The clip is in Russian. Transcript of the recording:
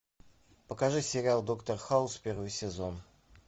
покажи сериал доктор хаус первый сезон